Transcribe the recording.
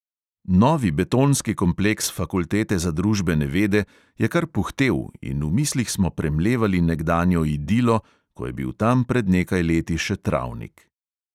Novi betonski kompleks fakultete za družbene vede je kar puhtel in v mislih smo premlevali nekdanjo idilo, ko je bil tam pred nekaj leti še travnik.